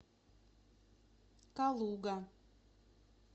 калуга